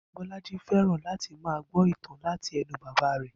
Bó̩lájí fé̩ràn láti máa gbó̩ ìtàn láti e̩nu bàbá rè̩